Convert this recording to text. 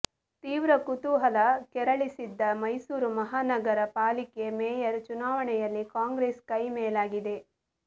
ತೀವ್ರ ಕುತೂಹಲ ಕೆರಳಿಸಿದ್ದ ಮೈಸೂರು ಮಹಾನಗರ ಪಾಲಿಕೆ ಮೇಯರ್ ಚುನಾವಣೆಯಲ್ಲಿ ಕಾಂಗ್ರೆಸ್ ಕೈ ಮೇಲಾಗಿದೆ